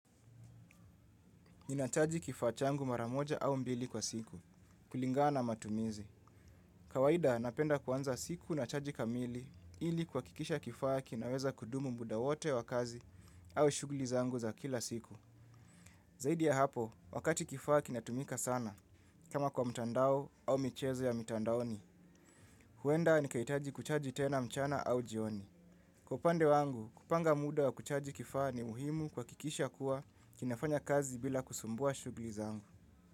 Ninachaji kifaa changu mara moja au mbili kwa siku kulingana na matumizi. Kawaida napenda kuanza siku na chaji kamili ili kuhakikisha kifaa kinaweza kudumu muda wote wa kazi au shughuli zangu za kila siku. Zaidi ya hapo, wakati kifaa kinatumika sana. Kama kwa mtandao au michezo ya mitandaoni, huenda nikahitaji kuchaji tena mchana au jioni. Kwa upande wangu, kupanga muda wa kuchaji kifaa ni muhimu kuhakikisha kuwa kinafanya kazi bila kusumbua shughuli zangu.